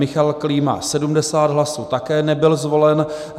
Michal Klíma 70 hlasů, také nebyl zvolen.